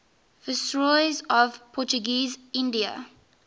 viceroys of portuguese india